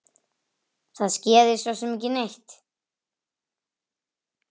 Það skeði sosum ekki neitt.